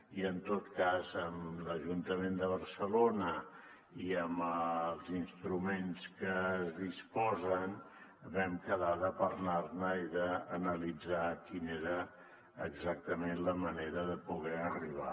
i en tot cas amb l’ajuntament de barcelona i amb els instruments de què es disposa vam quedar de parlar ne i d’analitzar quina era exactament la manera de poder hi arribar